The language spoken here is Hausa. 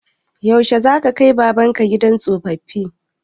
Yaushe za ka kai baban ka gidan tsoffi?